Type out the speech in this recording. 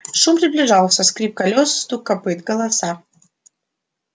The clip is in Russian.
шум приближался скрип колёс стук копыт голоса